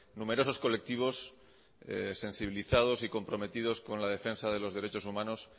numerosos colectivos sensibilizados y comprometidos con la defensa de los derechos humanos